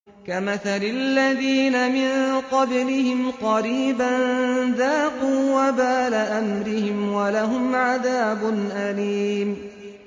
كَمَثَلِ الَّذِينَ مِن قَبْلِهِمْ قَرِيبًا ۖ ذَاقُوا وَبَالَ أَمْرِهِمْ وَلَهُمْ عَذَابٌ أَلِيمٌ